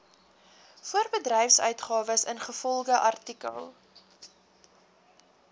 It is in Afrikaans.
voorbedryfsuitgawes ingevolge artikel